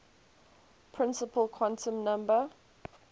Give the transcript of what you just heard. principal quantum number